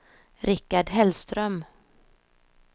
Rikard Hellström